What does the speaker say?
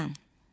Plan.